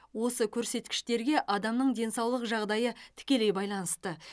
осы көрсеткіштерге адамның денсаулық жағдайы тікелей байланысты